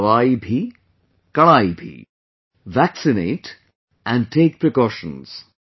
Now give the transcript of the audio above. दवाई भी, कड़ाई भी...vaccinate and take precautions